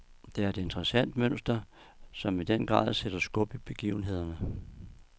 Det er et interessant mønster, som i den grad sætter skub i begivenhederne.